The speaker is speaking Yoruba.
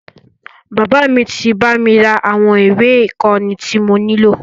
Bàbá mí tí bá mi ra àwọn ìwé ìkóni tí mo nílò.